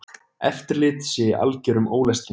Eftirlit sé í algerum ólestri.